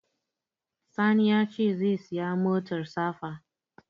Sani ya ce zai saya motar safa